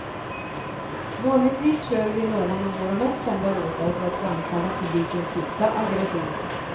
Vanligtvis kör vi någon av våra mest kända låtar för att framkalla publikens sista aggressioner.